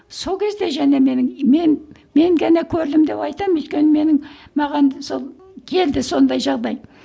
сол кезде және менің мен мен ғана көрдім деп айтамын өйткені менің маған сол келді сондай жағдай